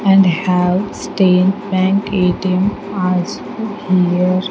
And have state bank A_T_M also here.